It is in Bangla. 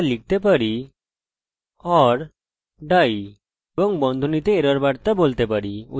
এরপর or die লিখতে পারি এবং বন্ধনীতে এরর বার্তা বলতে পারি উদাহরণস্বরূপ connection failed